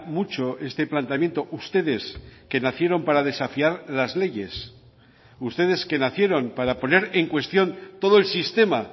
mucho este planteamiento ustedes que nacieron para desafiar las leyes ustedes que nacieron para poner en cuestión todo el sistema